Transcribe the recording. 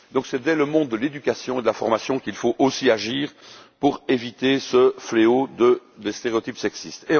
Par conséquent, c'est dès le monde de l'éducation et de la formation qu'il faut aussi agir pour éviter ce fléau des stéréotypes sexistes.